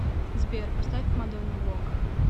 сбер поставь мадонна вог